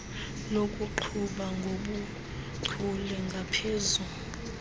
lokuqhuba ngobuchule ngaphezu